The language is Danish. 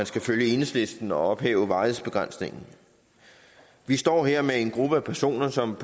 skal følge enhedslisten og ophæve varighedsbegrænsningen vi står her med en gruppe personer som